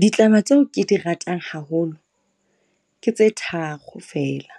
Ditlama tseo ke di ratang haholo ke tse tharo feela,